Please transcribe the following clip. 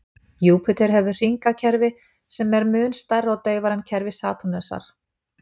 Júpíter hefur hringakerfi sem eru mun smærra og daufara en kerfi Satúrnusar.